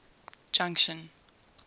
junction